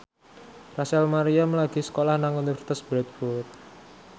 Rachel Maryam lagi sekolah nang Universitas Bradford